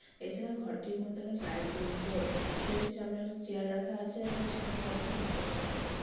এছাড়াও ঘরটির মধ্যে অনেক লাইট জ্বলছে স্টেজ টির সমানে একটি চেয়ার রাখা আছে এবং সেখানে কয়েকটি লোক বসে আছে।